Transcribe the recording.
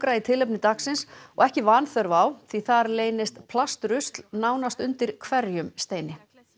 í tilefni dagsins og ekki vanþörf á því þar leynist plastrusl nánast undir hverjum steini